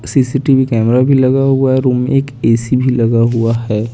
CCTV camera भी लगा हुआ है रूम में एक ऐसी लगा हुआ है।